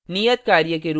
नियतकार्य के रूप में